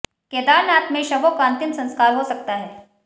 केदारनाथ में शवों का अंतिम संस्कार हो सकता है